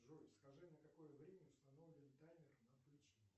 джой скажи на какое время установлен таймер на отключение